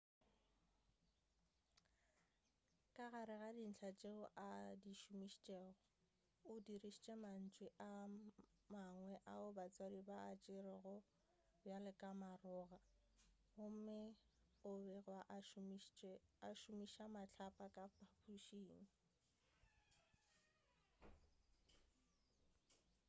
ka gare ga dintlha tšeo a di šomišitšego o dirišitše mantšu a mangwe ao batswadi ba a tšerego bjalo ka maroga gomme o begwa a šomiša mahlapa ka phaphušing